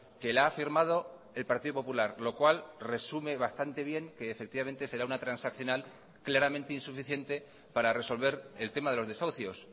que la ha firmado el partido popular lo cual resume bastante bien que efectivamente será una transaccional claramente insuficiente para resolver el tema de los desahucios